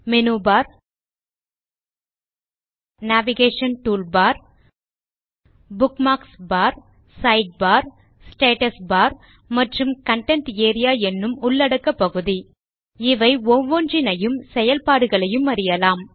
menu bar navigation toolbar bookmarks bar side bar status bar மற்றும் content area என்னும் உள்ளடக்கப் பகுதி இவை ஒவ்வொன்றினையும் செயல்பாடுகளையும் அறியலாம்